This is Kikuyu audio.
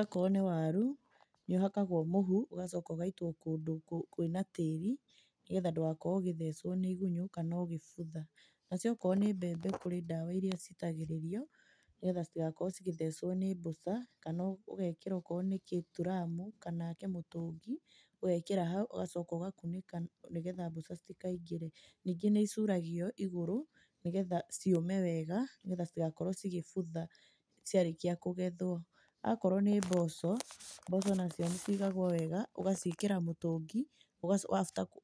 Okorwo nĩ waru nĩ ũhakagwo mũhu ũgacoka ũgaitwo kũndũ kwĩna tĩri, nĩgetha ndũgakorwo ũgĩthecwo nĩ igunyũ kana ũgĩbutha. Nacio okorwo ni mbembe kũrĩ ndawa irĩa citagĩrĩrio, nĩgetha citigakorwo cigĩthecwo nĩ mbũca kana ũgekĩra okorwo nĩ gĩturamu kana kĩmũtũngi, ũgekĩra haũ ũgacoka ũgakũnika nĩgetha mbũca citikaingĩre. Ningĩ nĩ icũragio igũrũ, nĩgetha ciũme wega nĩgetha citigakorwo cĩgĩbutha cĩarĩkia kũgethwo. Akorwo nĩ mboco, mboco nacio nĩcigagwo wega ũgaciĩkĩra mũtũngi,